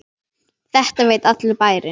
Þetta veit allur bærinn!